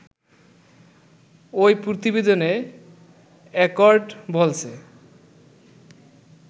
ওই প্রতিবেদনে অ্যাকর্ড বলছে